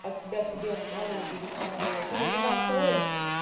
от тебя себе отправили будет самовывоз или когда откроем